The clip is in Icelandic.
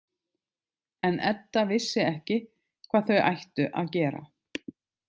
En Edda vissi ekki hvað þau ættu að gera.